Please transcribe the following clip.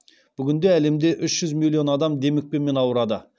бүгінде әлемде үш жүз миллион адам демікпемен ауырады